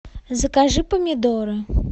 закажи помидоры